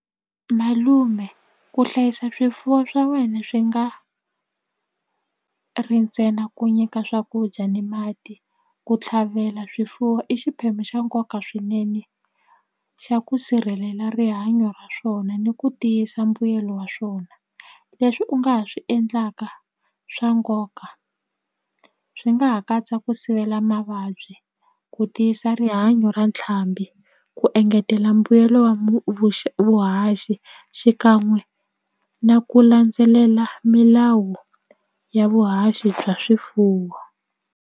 Malume ku hlayisa swifuwo swa wena swi nga ri ntsena ku nyika swakudya ni mati ku tlhavela swifuwo i xiphemu xa nkoka swinene xa ku sirhelela rihanyo ra swona ni ku tiyisa mbuyelo wa swona leswi u nga ha swi endlaka swa nkoka swi nga ha katsa ku sivela mavabyi ku tiyisa rihanya ra ntlhambi ku engetela mbuyelo wa vuhaxi xikan'we na ku landzelela milawu ya vuhaxi bya swifuwo.